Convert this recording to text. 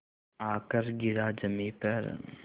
आकर गिरा ज़मीन पर